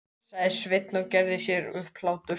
sagði Sveinn og gerði sér upp hlátur.